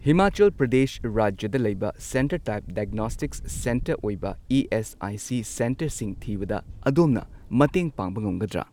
ꯍꯤꯃꯥꯆꯜ ꯄ꯭ꯔꯗꯦꯁ ꯔꯥꯖ꯭ꯌꯗ ꯂꯩꯕ centre type diagnostics centre ꯑꯣꯏꯕ ꯏ.ꯑꯦꯁ.ꯑꯥꯏ.ꯁꯤ. ꯁꯦꯟꯇꯔꯁꯤꯡ ꯊꯤꯕꯗ ꯑꯗꯣꯝꯅ ꯃꯇꯦꯡ ꯄꯥꯡꯕ ꯉꯝꯒꯗ꯭ꯔꯥ?